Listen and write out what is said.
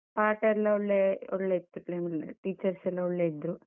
ಪಾಠ ಎಲ್ಲ ಒಳ್ಳೆ ಒಳ್ಳೆ ಇತ್ತು, teachers ಎಲ್ಲ ಒಳ್ಳೆ ಇದ್ರು.